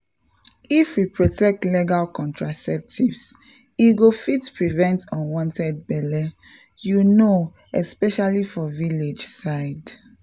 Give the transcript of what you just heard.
if we protect legal contraceptives e go fit prevent unwanted belle you know especially for village side.